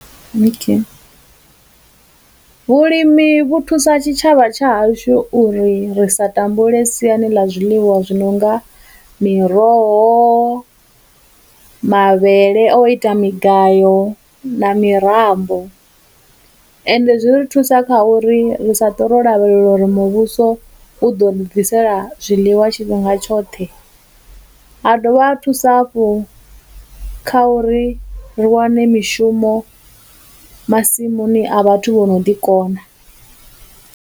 Vhulimi vhu thusa tshitshavha tsha hashu uri ri sa tambule siani ḽa zwiḽiwa zwi nonga miroho, mavhele o ita migayo, na mitambo, ende zwi ri thusa kha uri ri sa ṱwe lavhelela uri muvhuso u ḓo ri ḓisela zwiḽiwa tshifhinga tshoṱhe, ha dovha ha thusa hafhu kha uri ri wane mishumo masimuni a vhathu vho no ḓi kona.